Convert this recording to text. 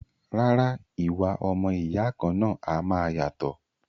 Rárá, ìwà ọmọ ìyá kan náà a máa yàtọ̀